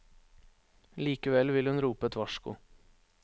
Likevel vil hun rope et varsko.